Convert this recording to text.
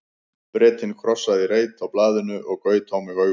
Bretinn krossaði í reit á blaðinu og gaut á mig augum.